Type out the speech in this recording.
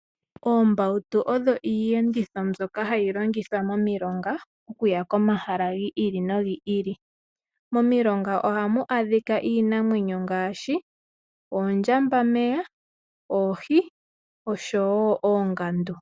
Oombautu odho iiyenditho mbyoka hayi longithwa momilonga okuya komahala gi ili no gi ili. Momilonga ohamu adhika iinamwenyo ngaashi oondjambameya, oohi osho woo oongandu.